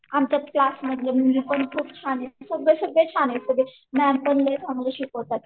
आमच्या क्लास मधल्या मुली पण खूप छान आहेत सगळे सगळे शाने आहेत मी अपसेन्ट असले तरी शिकवतात.